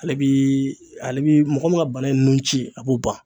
Ale bi ale bi mɔgɔ min ka bana in ci ye a b'o ban